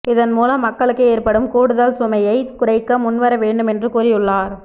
இதன் மூலம் மக்களுக்கு ஏற்படும் கூடுதல் சுமையைக் குறைக்க முன்வர வேண்டும் என்று கூறியுள்ளார்